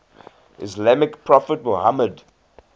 islamic prophet muhammad